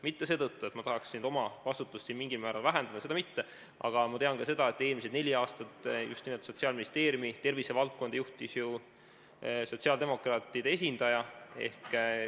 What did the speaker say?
Mitte seetõttu, et ma tahaks nüüd oma vastutust mingil määral vähendada, seda mitte, aga ma tean ka seda, et eelmised neli aastat Sotsiaalministeeriumis just nimelt tervisevaldkonda juhtis ju sotsiaaldemokraatide esindaja.